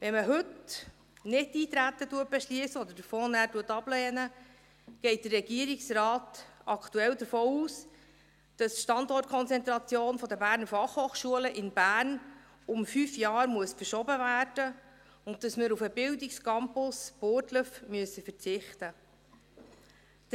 Wenn man heute Nichteintreten beschliesst oder den Fonds nachher ablehnt, geht der Regierungsrat aktuell davon aus, dass die Standortkonzentration der BFH in Bern um fünf Jahre verschoben werden muss und dass wir auf den Bildungscampus Burgdorf verzichten müssen.